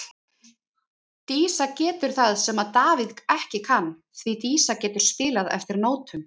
Dísa getur það sem að Davíð ekki kann, því Dísa getur spilað eftir nótum.